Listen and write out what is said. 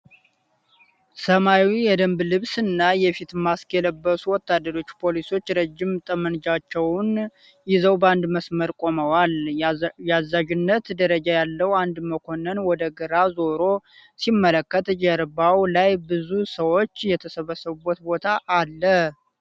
ሰማያዊ የደንብ ልብስ እና የፊት ማስክ የለበሱ ወታደራዊ ፖሊሶች ረዥም ጠመንጃዎቻቸውን ይዘው በአንድ መስመር ቆመዋል። የአዛዥነት ደረጃ ያለው አንድ መኮንን ወደ ግራ ዞሮ ሲመለከት፣ ጀርባው ላይ ብዙ ሰዎች የተሰበሰቡበት ቦታ አለ።